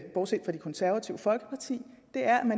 bortset fra det konservative folkeparti